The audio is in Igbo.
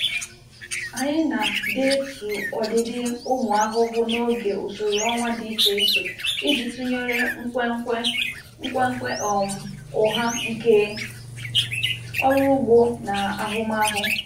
Anyị na deetu ọdịdị ụmụ ahụhụ n'oge usoro ọnwa dị iche iche iji tụnyere nkwenkwe nkwenkwe um ụgha nke ọrụ ugbo na ahụmahụ.